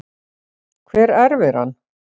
Hver erfir hann?